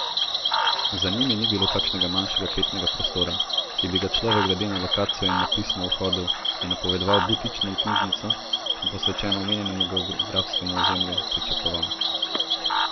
Za njimi ni bilo kakšnega manjšega kletnega prostora, ki bi ga človek glede na lokacijo in napis na vhodu, ki je napovedoval butično knjižnico, posvečeno omejenemu geografskemu ozemlju, pričakoval.